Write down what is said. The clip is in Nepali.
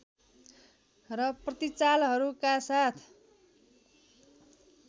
र प्रतिचालहरूका साथ